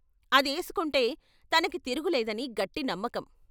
అదేసుకుంటే తనకి తిరుగులేదని గట్టి నమ్మకం.